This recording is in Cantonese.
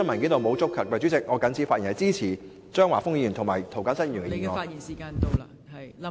代理主席，我謹此發言，支持張華峰議員的議案及涂謹申議員的修正案。